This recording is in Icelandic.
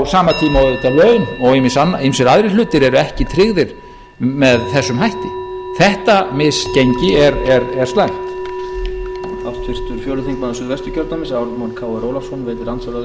á sama tíma og auðvitað laun og ýmsir aðrir hlutir eru ekki tryggðir með þessum hætti þetta misgengi er slæmt